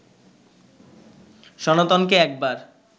সনাতনকে একবার